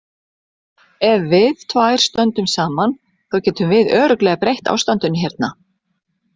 Ef við tvær stöndum saman, þá getum við örugglega breytt ástandinu hérna.